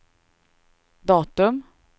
datum